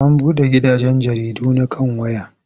An buɗe gidajen jaridu na kan waya.